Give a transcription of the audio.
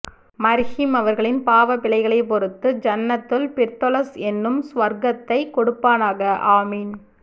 மர்ஹூம் அவர்களின் பாவ பிழைகளை பொறுத்து ஜன்னத்துல் பிர்தௌஸ் எனும் சுவர்க்கத்தை கொடுப்பானாக ஆமீன்